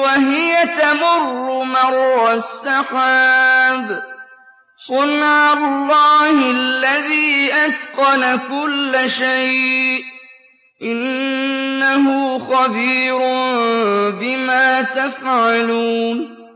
وَهِيَ تَمُرُّ مَرَّ السَّحَابِ ۚ صُنْعَ اللَّهِ الَّذِي أَتْقَنَ كُلَّ شَيْءٍ ۚ إِنَّهُ خَبِيرٌ بِمَا تَفْعَلُونَ